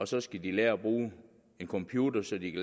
så skal lære at bruge en computer så de